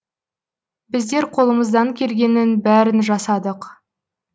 біздер қолымыздан келгеннің бәрін жасадық